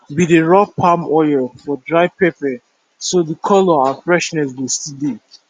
we dey rub palm oil for dry pepper so the colour and freshness go still dey